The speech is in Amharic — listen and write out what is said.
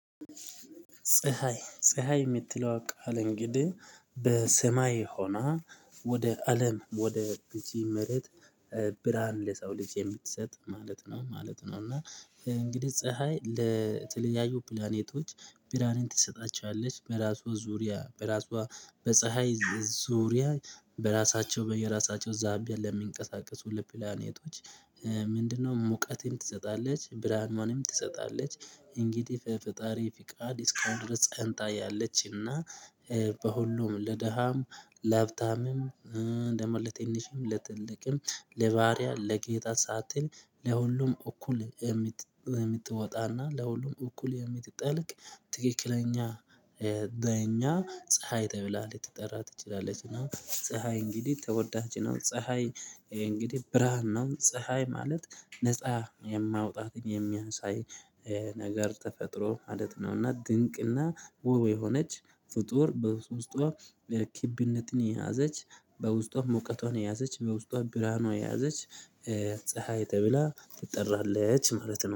ፀሀይ ፀሀይ እምትለዋ ቃል እንግዲህ በሰማይ ሆና ወደ አለም ወደ እዚህ መሬት ብርሃን ለሰው ልጅ የምትሰጥ ማለት ነው ማለት ነው። እና እንግዲህ ፀሀይ ለተለያዩ ፕላኔቶች ብርሃንን ትሰጣቸዋለች በራሷ ዙሪያ በራሷ በፀሀይ ዙሪያ በራሳቸው በየራሳቸው ዛቢያ ለሚንቀሳቀሱ ለፕላኔቶች ሙቀትም ትሰጣለች ብርሃኗንም ትሰጣለች። እንግዲህ ፈጣሪ ፍቃድ እስካሁን ጸንታ ያለችና በሁሉም ለደሃም ለሀብታምም ደግሞ ትንሽም ለትልቅም ለባሪያ ለጌታ ሳትል ለሁሉም እኩል የምትወጣና ለሁሉም እኩል የምትጠልቅ። ትክክለኛ ለእኛ ፀሀይ ተብላ ልትጠራ ትችላለች ነው ፀሀይ እንግዲህ ተወዳች ነው ፀሀይ። እንግዲህ ብርሃን ነው ፀሀይ ማለት ነፃ የማውጣትን የሚያሳይ ነገር ተፈጥሮ ማለት ነው። እና ድንቅና ወብ የሆነች ፍጡር በውስጧ ለክብነትን የያዘች በውስጧ ሙቀቷን የያዘች በውስጧ ብርሃኗን የያዘች። ፀሀይ ተብላ ትጠራለች ማለት ነው